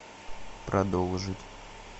продолжить